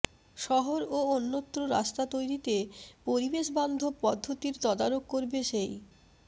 শহর ও অন্যত্র রাস্তা তৈরিতে পরিবেশবান্ধব পদ্ধতির তদারক করবে সেই